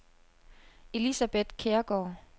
Elisabeth Kjærgaard